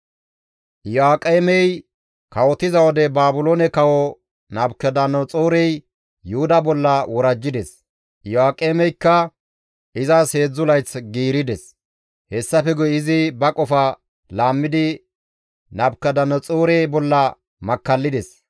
Iyo7aaqemey kawotiza wode Baabiloone kawo Nabukadanaxoorey Yuhuda bolla worajjides; Iyo7aaqemeykka izas 3 layth giirides. Hessafe guye izi ba qofa laammidi Nabukadanaxoore bolla makkallides.